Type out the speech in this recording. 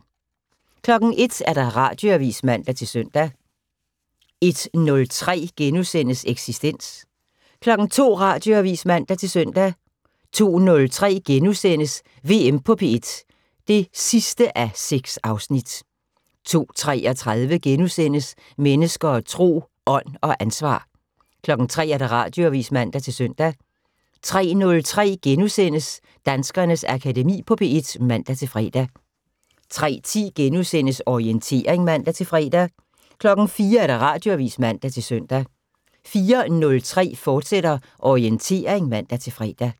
01:00: Radioavis (man-søn) 01:03: Eksistens * 02:00: Radioavis (man-søn) 02:03: VM på P1 (6:6)* 02:33: Mennesker og Tro: Ånd og ansvar * 03:00: Radioavis (man-søn) 03:03: Danskernes Akademi på P1 *(man-fre) 03:10: Orientering *(man-fre) 04:00: Radioavis (man-søn) 04:03: Orientering, fortsat (man-fre)